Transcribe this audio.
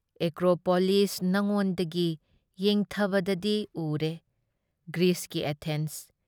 Acropolis ꯅꯉꯣꯟꯗꯒꯤ ꯌꯦꯡꯊꯕꯗꯗꯤ ꯎꯔꯦ ꯒ꯭ꯔꯤꯁꯀꯤ ꯑꯦꯊꯦꯟꯁ꯫